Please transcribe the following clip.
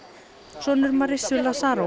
sonur Marissu